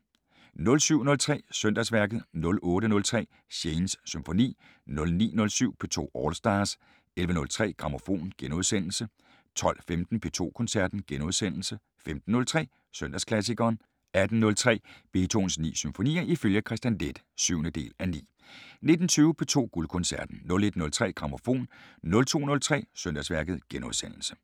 07:03: Søndagsværket 08:03: Shanes Symfoni 09:07: P2 All Stars 11:03: Grammofon * 12:15: P2 Koncerten * 15:03: Søndagsklassikeren 18:03: Beethovens 9 symfonier ifølge Kristian Leth (7:9) 19:20: P2 Guldkoncerten 01:03: Grammofon 02:03: Søndagsværket *